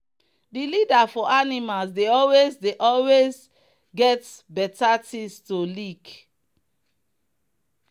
the leader for animals dey always dey always get better things to lick.